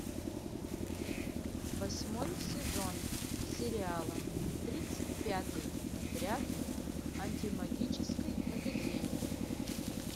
восьмой сезон сериала тридцать пятый отряд антимагической академии